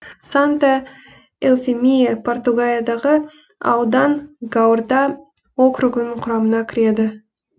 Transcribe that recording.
санта эуфемия португалиядағы аудан гуарда округінің құрамына кіреді